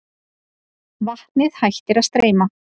Vatnið hættir að streyma.